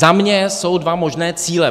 Za mě jsou dva možné cíle.